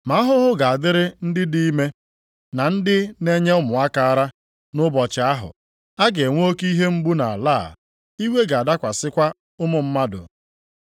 Ma ahụhụ ga-adịrị ndị dị ime, na ndị na-enye ụmụaka ara, nʼụbọchị ahụ! A ga-enwe oke ihe mgbu nʼala a, iwe ga-adakwasịkwa ụmụ mmadụ.